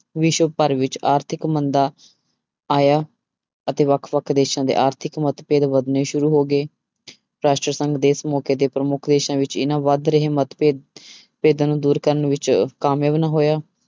ਵਿਸ਼ਵ ਭਰ ਵਿੱਚ ਆਰਥਿਕ ਮੰਦਾ ਆਇਆ ਅਤੇ ਵੱਖ ਵੱਖ ਦੇਸਾਂ ਦੇ ਆਰਥਿਕ ਮਤਭੇਦ ਵਧਣੇ ਸ਼ੁਰੂ ਹੋ ਗਏ ਰਾਸ਼ਟਰ ਸੰਘ ਵੀ ਇਸ ਮੌਕੇ ਤੇ ਪ੍ਰਮੁੱਖ ਦੇਸਾਂ ਵਿੱਚ ਇਹਨਾਂ ਵੱਧ ਰਹੇ ਮਤਭੇਦ ਭੇਦਾਂ ਨੂੰ ਦੂਰ ਕਰਨ ਵਿੱਚ ਕਾਮਯਾਬ ਨਾ ਹੋਇਆ।